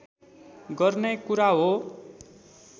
गर्ने कुरा हो